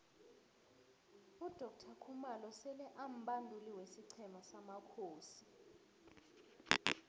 udoctor khumalo sele ambanduli wesiqhema samakhosi